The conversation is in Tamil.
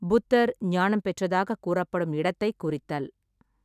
புத்தர் ஞானம் பெற்றதாகக் கூறப்படும் இடத்தைக் குறித்தல்.